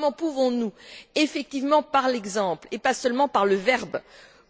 Comment dès lors pouvons nous effectivement par l'exemple, et pas seulement par le verbe,